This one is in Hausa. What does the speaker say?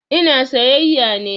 Ina sayayya ne.